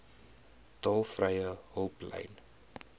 tolvrye hulplyn